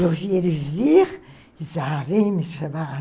Eu vi ele vir e disse, ah, vem me chamar.